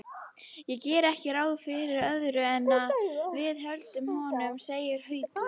Ég geri ekki ráð fyrir öðru en að við höldum honum, segir Haukur.